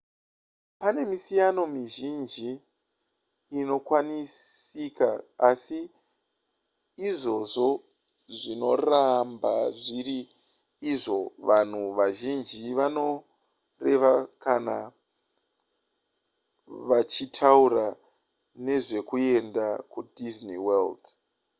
pane misiyano mizhinji inokwanisika asi izvozvo zvinoramba zviri izvo vanhu vazhinji vanoreva kana vachitaura nezvekuenda kudisney world